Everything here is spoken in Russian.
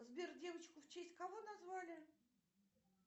сбер девочку в честь кого назвали